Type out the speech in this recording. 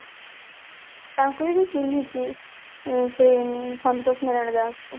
ତାଙ୍କୁ ବି ମୁଁ ଚିହ୍ନିଛି ଇଁ ସେ ସନ୍ତୋଷ ନାରାୟଣ ଦାସଙ୍କୁ